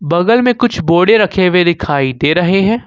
बगल में कुछ बोडे रखे हुए दिखाई दे रहे है।